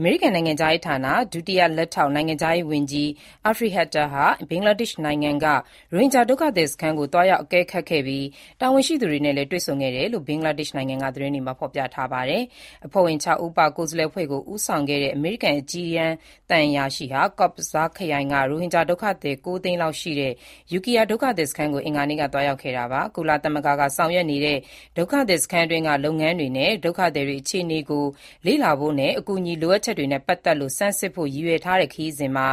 အမေရိကန် နိုင်ငံခြားရေးဌာန ဒုတိယလက်ထောက် နိုင်ငံခြားရေးဝန်ကြီး Afreen Akhter ဟာ ဘင်္ဂလားဒေ့ရှ်နိုင်ငံက ရိုဟင်ဂျာဒုက္ခသည်စခန်းကို သွားရောက်အကဲခတ်ခဲ့ပြီး တာဝန်ရှိသူတွေနဲ့လည်း တွေ့ဆုံခဲ့တယ်လို့ ဘင်္ဂလားဒေ့ရှ်နိုင်ငံက သတင်းတွေမှာ ဖော်ပြပါတယ်။ အဖွဲ့ဝင် ၆ ဦးပါ ကိုယ်စားလှယ်အဖွဲ့ကို ဦးဆောင်ခဲ့တဲ့ အမေရိကန်အကြီးတန်း သံအရာရှိဟာ Cox's Bazar ခရိုင်က ရိုဟင်ဂျာဒုက္ခသည် ၉ သိန်းလောက်ရှိတဲ့ Ukhiya ဒုက္ခသည်စခန်းကို အင်္ဂါနေ့ က ရောက်သွားခဲ့တာပါ။ ကုလသမဂ္ဂက ဆောင်ရွက်နေတဲ့ ဒုက္ခသည်စခန်းတွင်းက လုပ်ငန်းတွေနဲ့ ဒုက္ခသည်တွေ အခြေအနေကို လေ့လာဖို့ အကူအညီ လိုအပ်ချက်တွေနဲ့ ပတ်သက်လို့ ဆန်းစစ်ဖို့ ရည်ရွယ်ထားတဲ့ ခရီးစဉ်မှာ